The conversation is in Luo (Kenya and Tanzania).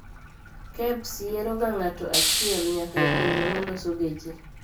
KEBS yiero ga ng''ato ahiel nyaka e pinje maloso geche